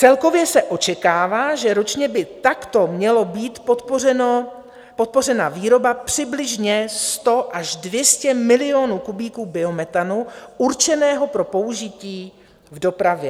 Celkově se očekává, že ročně by takto mělo být podpořena výroba přibližně 100 až 200 milionů kubíků biometanu určeného pro použití v dopravě.